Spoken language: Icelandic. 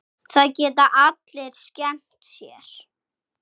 Það geta allir skemmt sér.